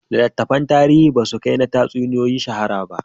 Littattafan tarihi ba su kai na tatsuniyoyi shahara ba